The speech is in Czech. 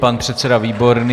Pan předseda Výborný.